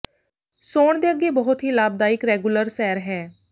ਸੌਣ ਦੇ ਅੱਗੇ ਬਹੁਤ ਹੀ ਲਾਭਦਾਇਕ ਰੈਗੂਲਰ ਸੈਰ ਹੈ